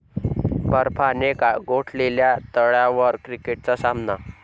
बर्फाने गोठलेल्या तळ्यावर क्रिकेटचा सामना